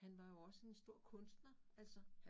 Han var jo også en stor kunstner altså